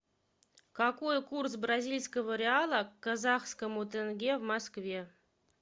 какой курс бразильского реала к казахскому тенге в москве